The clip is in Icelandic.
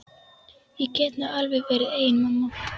Ég get nú alveg verið ein mamma.